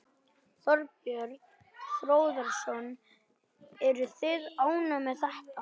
Þorbjörn Þórðarson: Eruð þið ánægð með þetta?